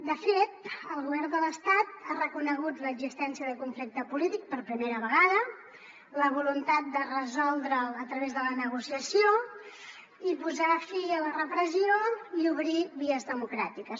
de fet el govern de l’estat ha reconegut l’existència de conflicte polític per primera vegada la voluntat de resoldre’l a través de la negociació i posar fi a la repressió i obrir vies democràtiques